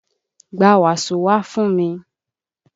Gba wàsó wá fún mi!